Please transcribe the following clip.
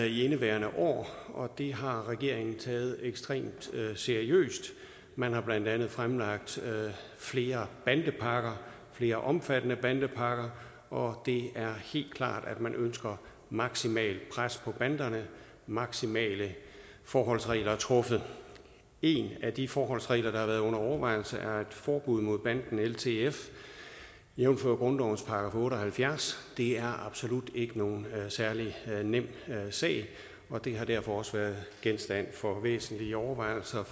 i indeværende år og det har regeringen taget ekstremt seriøst man har blandt andet fremlagt flere bandepakker flere omfattende bandepakker og det er helt klart at man ønsker maksimalt pres på banderne maksimale forholdsregler truffet en af de forholdsregler der har været under overvejelse er et forbud mod banden ltf jævnfør grundlovens § otte og halvfjerds det er absolut ikke nogen særlig nem sag og det har derfor også været genstand for væsentlige overvejelser